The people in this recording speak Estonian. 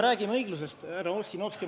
Räägime õiglusest, härra Ossinovski.